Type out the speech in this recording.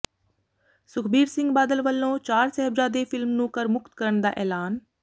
ਸੁਖਬੀਰ ਸਿੰਘ ਬਾਦਲ ਵਲੋਂ ਚਾਰ ਸਾਹਿਬਜਾਦੇ ਫਿਲਮ ਨੂੰ ਕਰ ਮੁਕਤ ਕਰਨ ਦਾ ਐਲਾਨ